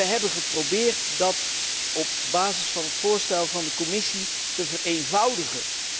We hebben geprobeerd dat op basis van het voorstel van de Commissie te vereenvoudigen.